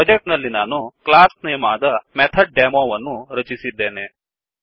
project ನಲ್ಲಿ ನಾನು class name ಆದಮೆಥಡ್ ಡೆಮೊMethodDemo ವನ್ನು ರಚಿಸಿದ್ದೇನೆ